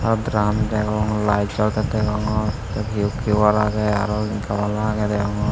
aro draam degong layed jolettey degongor tey hiu kiyuar agey aro gabala agey degongor.